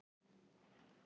Hvað gengur eiginlega á?